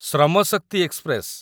ଶ୍ରମ ଶକ୍ତି ଏକ୍ସପ୍ରେସ